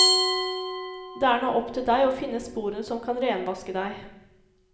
Det er nå opp til deg å finne sporene som kan renvaske deg.